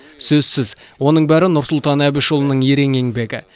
сөзсіз оның бәрі нұрсұлтан әбішұлының ерен еңбегі